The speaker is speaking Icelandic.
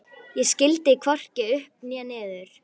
Ég skildi hvorki upp né niður.